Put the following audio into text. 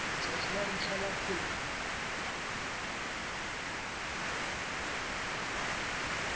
letsatsi la ntlha la kgwedi